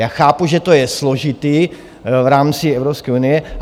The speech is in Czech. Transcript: Já chápu, že to je složité v rámci Evropské unie.